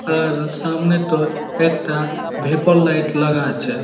আর সামনেতো একটা vapour light লাগা আছে।